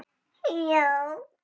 Nú hvar er hún fóstra mín?